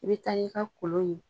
I bɛ taa n'i ka kolon ye.